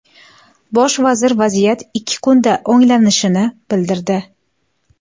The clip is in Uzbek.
Bosh vazir vaziyat ikki kunda o‘nglanishini bildirdi.